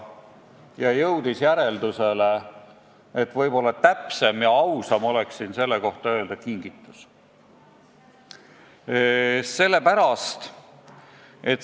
Andres Ammas jõudis järeldusele, et ausam oleks seda nimetada kingituseks.